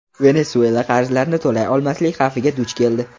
Venesuela qarzlarini to‘lay olmaslik xavfiga duch keldi.